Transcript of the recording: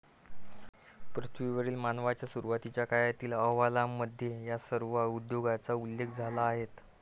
पृथ्वीवरील मानवांच्या सुरवातीच्या काळातील अहवालांमध्ये या सर्व उद्योगांचा उल्लेख आला आहे.